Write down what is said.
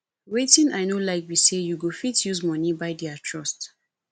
wetin i no like be say you go fit use money buy their trust